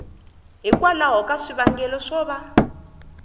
hikwalaho ka swivangelo swo va